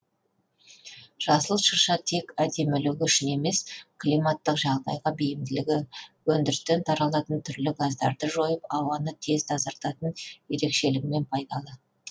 жасыл шырша тек әдемілігі үшін емес климаттық жағдайға бейімділігі өндірістен таралатын түрлі газдарды жойып ауаны тез тазартатын ерекшелігімен пайдалы